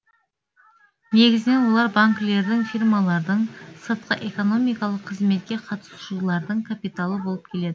негізінен олар банкілердің фирмалардың сыртқы экономикалық қызметке қатысушылардың капиталы болып келеді